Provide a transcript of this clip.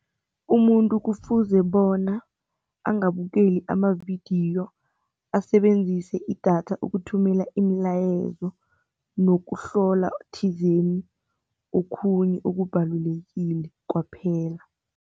Umuntu kufuze bona angabukeli amavidiyo, asebenzise idatha ukuthumela imilayezo nokuhlola thizeni okhunye okubalulekile kwaphela.